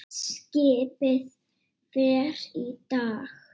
Skipið fer í dag.